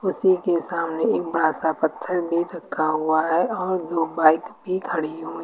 उसी के सामने एक बड़ा सा पत्थर भी रखा हुआ है और दो बाइक भी खड़ी हुई--